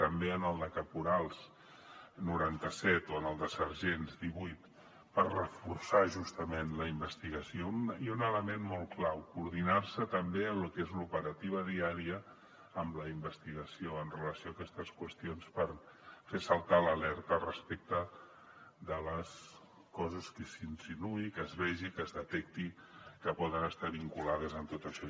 també al de caporals noranta set o al de sergents divuit per reforçar justament la investigació i un element molt clau coordinar se també en el que és l’operativa diària amb la investigació en relació amb aquestes qüestions per fer saltar l’alerta respecte de les coses que s’insinuï que es vegi que es detecti que poden estar vinculades a tot això